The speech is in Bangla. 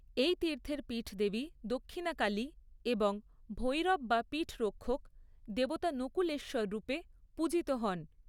এই তীর্থের পীঠদেবী দক্ষিণাকালী এবং ভৈরব বা পীঠরক্ষক দেবতা নকুলেশ্বর রূপে পূজিত হন।